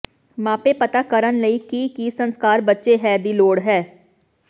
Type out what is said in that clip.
ਮਾਪੇ ਪਤਾ ਕਰਨ ਲਈ ਕਿ ਕੀ ਸੰਸਕਾਰ ਬੱਚੇ ਹੈ ਦੀ ਲੋੜ ਹੈ